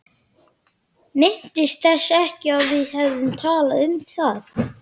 Minntist þess ekki að við hefðum talað um það.